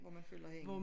Hvor man følger hende